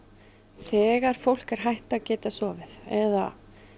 þegar fólk er hætt að geta sofið eða